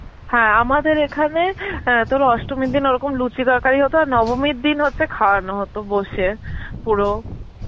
হ্যাঁ আমাদের এখানে অ্যাঁ তোর অষ্টমীর দিন ওরকম লুচি তরকারি হত, আর নবমীর দিন হচ্ছে খাওয়ানো তো বসিয়ে পুরো.